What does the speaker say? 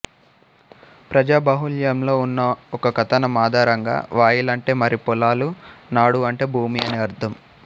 ప్రజాబాహుళ్యంలో ఉన్న ఒక కథనం ఆధారంగా వయల్ అంటే వరి పొలాలు నాడు అంటే భూమి అని అర్ధం